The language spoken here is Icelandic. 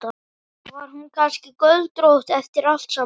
Var hún kannski göldrótt eftir allt saman?